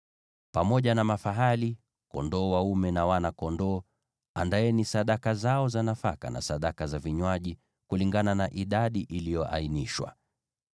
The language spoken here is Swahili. Pamoja na mafahali, kondoo dume, na wana-kondoo, andaeni sadaka zao za nafaka na sadaka za vinywaji, kulingana na idadi iliyoainishwa.